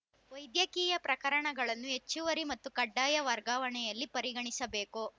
ವೈದ್ಯಕೀಯ ಪ್ರಕರಣಗಳನ್ನು ಹೆಚ್ಚುವರಿ ಮತ್ತು ಕಡ್ಡಾಯ ವರ್ಗಾವಣೆಯಲ್ಲಿ ಪರಿಗಣಿಸಬೇಕು